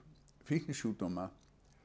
fíknisjúkdóma